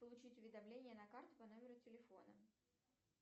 получить уведомление на карту по номеру телефона